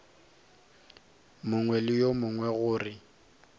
mongwe le yo mongwe gore